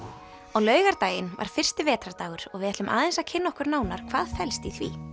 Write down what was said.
á laugardaginn var fyrsti vetrardagur og við ætlum aðeins að kynna okkur nánar hvað felst í því